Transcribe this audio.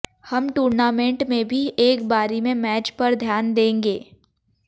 हम टूर्नामेंट में भी एक बारी में एक मैच पर ध्यान देंगे